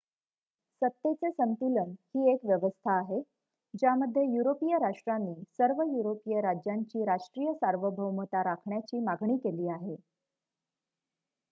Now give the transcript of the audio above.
सत्तेचे संतुलन ही एक व्यवस्था आहे ज्यामध्ये युरोपिय राष्ट्रांनी सर्व युरोपिय राज्यांची राष्ट्रीय सार्वभौमता राखण्याची मागणी केली आहे